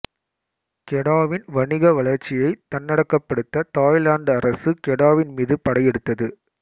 கெடாவின் வணிக வளர்ச்சியைத் தன்னகப்படுத்த தாய்லாந்து அரசு கெடாவின் மீது படை எடுத்தது